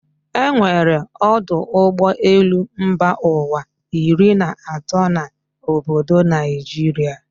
E nwere ọdọ ụgbọ elu mba ụwa iri na atọ na obodo Naijiria